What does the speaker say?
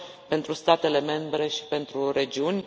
pentru statele membre și pentru regiuni.